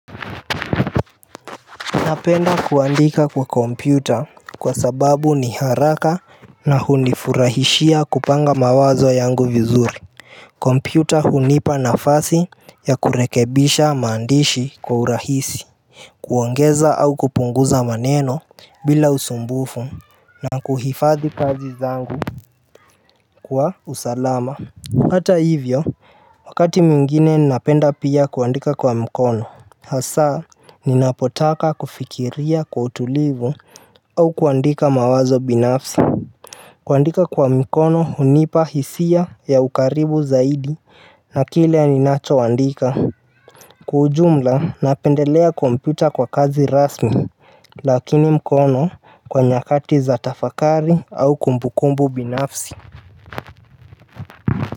Napenda kuandika kwa kompyuta kwa sababu ni haraka na hunifurahishia kupanga mawazo yangu vizuri kompyuta hunipa nafasi ya kurekebisha maandishi kwa urahisi kuongeza au kupunguza maneno bila usumbufu na kuhifadhi kazi zangu kwa usalama Hata hivyo, wakati mwingine napenda pia kuandika kwa mkono hasa, ninapotaka kufikiria kwa utulivu au kuandika mawazo binafsi kuandika kwa mkono hunipa hisia ya ukaribu zaidi na kile ninachoandika Kwa ujumla napendelea kompyuta kwa kazi rasmi Lakini mkono kwa nyakati za tafakari au kumbukumbu binafsi.